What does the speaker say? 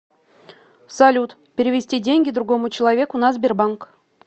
салют перевести деньги другому человеку на сбербанк